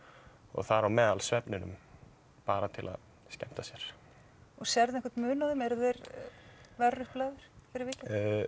þar á meðal svefninum bara til að skemmta sér og sérðu einhvern mun á þeim eru þeir verr upp lagðir fyrir vikið